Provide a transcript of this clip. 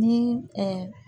Ni